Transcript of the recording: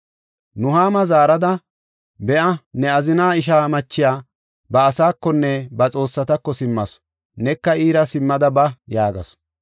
Nuhaama zaarada, “Be7a, ne azina isha machiya ba asaakonne ba xoossatako simmasu, neka iira simmada ba” yaagasu.